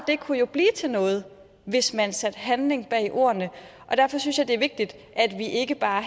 kunne jo blive til noget hvis man satte handling bag ordene og derfor synes jeg det er vigtigt at vi ikke bare